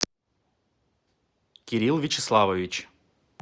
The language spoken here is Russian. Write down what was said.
кирилл вячеславович